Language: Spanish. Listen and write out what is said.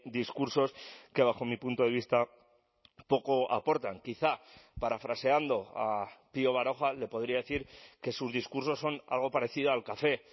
discursos que bajo mi punto de vista poco aportan quizá parafraseando a pío baroja le podría decir que sus discursos son algo parecido al café